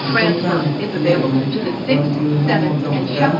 kamkha ma khanyek lo ham phone nong nong chong taiga.